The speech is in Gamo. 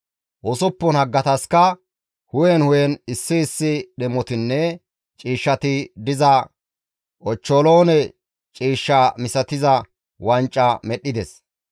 Usuppun haggataska hu7en hu7en issi issi dhemotinne ciishshati diza, ochcholoone ciish misatiza wanca medhdhides;